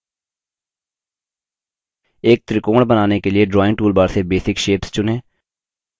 एक त्रिकोण बनाने के लिए drawing toolbar से basic shapes चुनें